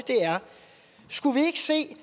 skulle vi ikke se at